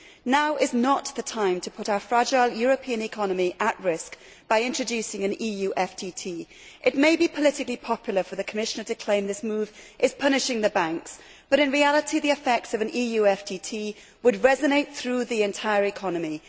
Now is not the time to put our fragile European economy at risk by introducing an EU financial transaction tax It may be politically popular for the Commissioner to claim this move is punishing the banks, but in reality the effects of an EU FTT would resonate through the entire economy.